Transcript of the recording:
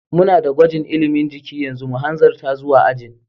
Muna da gwajin ilimin jiki yanzu, mu hanzarta zuwa ajin.